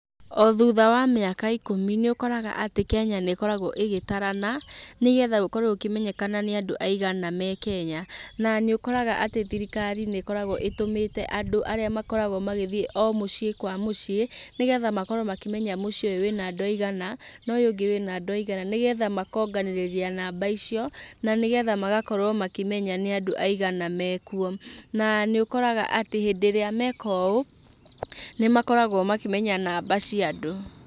O thutha wa mĩaka ikũmi, nĩ ũkoraga atĩ Kenya nĩ ĩkoragwo ĩgĩtarana, nĩgetha gũkorwo gũkĩmenyekana nĩ andũ aigana me Kenya. Na nĩ ũkoraga atĩ thirikari nĩ ĩkoragwo ĩtũmĩte andũ arĩa makoragwo magĩthiĩ o mũciĩ kwa mũciĩ, nĩgetha makorwo makĩmenya mũciĩ ũyũ wĩ na andũ aigana, na ũyũ ũngĩ wĩ na aigana, nĩgetha makonganĩrĩria namba icio, na nĩgetha magakorwo makĩmenya nĩ andũ aigana mekwo. Na nĩ ũkoraga atĩ hĩndĩ ĩrĩa meka ũũ, nĩ makoragwo makĩmenya namba cia andũ.